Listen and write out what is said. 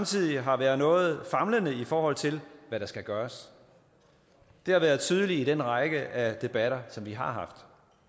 side har været noget famlende i forhold til hvad der skal gøres det har været tydeligt i den række af debatter som vi har haft